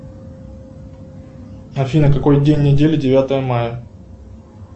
афина какой день недели девятое мая